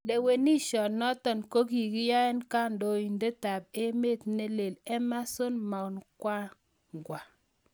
Lewenishonotok ko kiyoe kandoindet ap emeet neleel Emmerson Mnangangwa.